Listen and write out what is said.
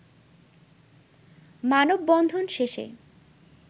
মানববন্ধন শেষে